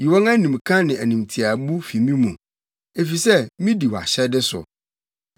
Yi wɔn animka ne animtiaabu fi me mu, efisɛ midi wʼahyɛde so.